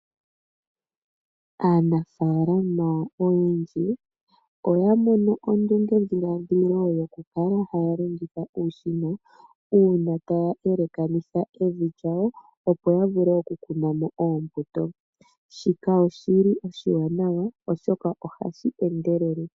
Aanafalama oyendji oya mono ondunge dhiladhilo yokukala haya longitha uushina uuna taya elekanitha evi lyawo opo yavule okukunamo oombuto. Shika oshili oshiwanawa oshoka ohashi endelele.